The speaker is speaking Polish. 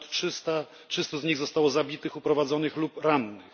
r. ponad 300 z nich zostało zabitych, uprowadzonych lub rannych.